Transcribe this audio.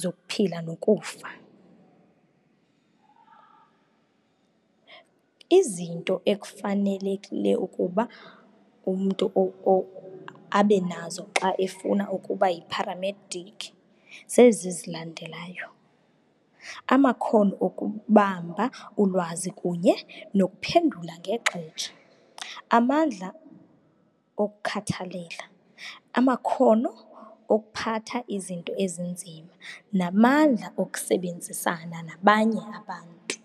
zokuphila nokufa. Izinto ekufanelekile ukuba umntu abenazo xa efuna ukuba yiparamedic zezi zilandelayo, amakhono okubamba ulwazi kunye nokuphendula ngexesha, amandla okhathalela, amakhono okuphatha izinto ezinzima, namandla okusebenzisana nabanye abantu.